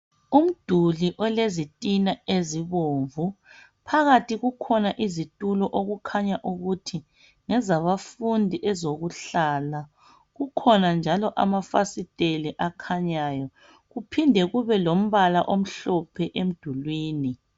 Umduli olezitina ezibomvu phakathi kukhona izitulo okukhanya ukuthi ngezabafundi ezokuhlala kukhona njalo amafasitela akhanyayo kuphinde kube lombala omhlophe emdulini.